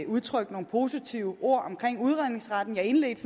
udtrykte nogle positive ord om udredningsretten jeg indledte